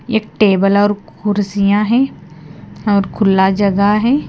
एक टेबल और कुर्सियां है और खुला जगह है।